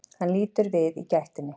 Hann lítur við í gættinni.